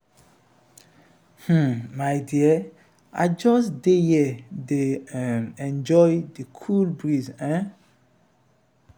we go visit one waterfall like dat wey dey dat wey dey for enugu the place fine eh.